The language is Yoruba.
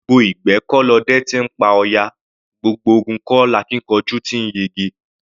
Gbogbo ìgbẹ́ kọ́ lọdẹ ti ńpa ọ̀yà; gbogbo ogun kọ́ lakíkanjú ti ńyege.